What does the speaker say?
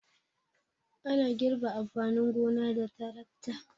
Ana girbe amfanin gona da tarakta.